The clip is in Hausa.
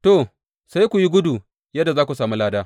To, sai ku yi gudu yadda za ku sami lada.